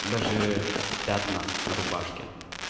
даже пятна на рубашке